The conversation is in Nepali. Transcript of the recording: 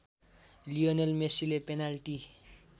लियोनल मेसीले पेनाल्टी